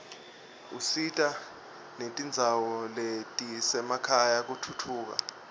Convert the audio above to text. usita netindzawo letisemakhaya kutfutfuka